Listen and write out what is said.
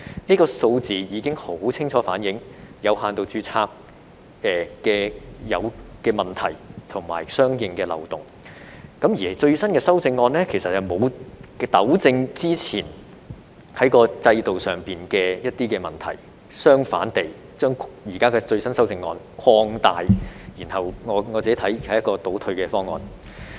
這些數字已經十分清楚反映有限度註冊制度的問題及相關漏洞，而最新的修正案其實沒有糾正之前制度上的一些問題，相反地更把它們擴大，我認為是一項倒退的方案。